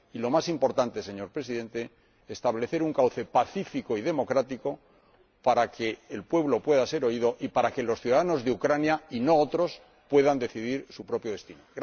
y, lo más importante, señor Presidente, establecer un cauce pacífico y democrático para que el pueblo pueda ser oído y para que los ciudadanos de Ucrania, y no otros, puedan decidir su propio destino.